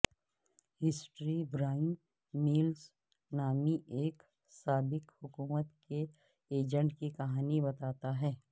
history Brian Mills نامی ایک سابق حکومت کے ایجنٹ کی کہانی بتاتا ہے